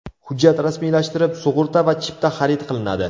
Hujjat rasmiylashtirib, sug‘urta va chipta xarid qilinadi.